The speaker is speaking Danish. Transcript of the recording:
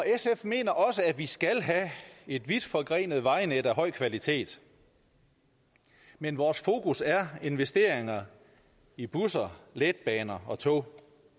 sf mener også at vi skal have et vidtforgrenet vejnet af høj kvalitet men vores fokus er investeringer i busser letbaner og tog